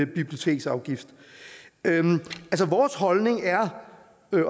biblioteksafgift vores holdning er